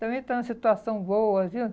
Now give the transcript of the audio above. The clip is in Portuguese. Também está numa situação boa, viu?